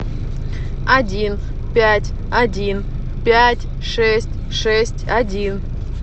один пять один пять шесть шесть один